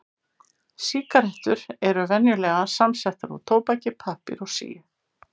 Sígarettur eru venjulega samsettar úr tóbaki, pappír og síu.